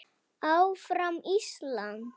ÁFRAM ÍSLAND!